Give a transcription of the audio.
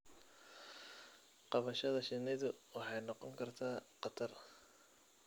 Qabashada shinnidu waxay noqon kartaa khatar.